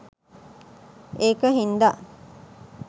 ඒක හින්දා